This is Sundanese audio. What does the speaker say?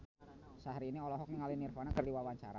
Syaharani olohok ningali Nirvana keur diwawancara